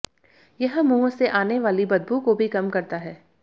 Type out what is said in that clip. यह मुंह से आने वाली बदबू को भी कम करता है